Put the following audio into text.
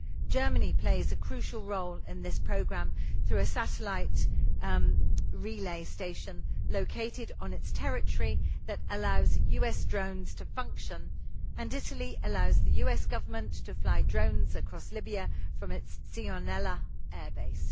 Germany plays a crucial role in this programme through a satellite relay station located on its territory that allows US drones to function and Italy allows the US Government to fly drones across Libya from its Sigonella airbase.